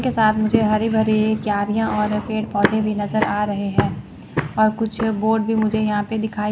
के साथ मुझे हरी भरी क्यारियाँ और पेड़-पौधे भी नज़र आ रहे है और कुछ बोर्ड भी मुझे यहाँ पे दिखाई --